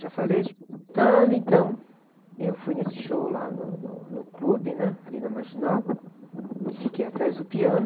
Já falei de... Então, então, eu fui nesse show lá no, no, no clube, ali na Marginal, e fiquei atrás do piano.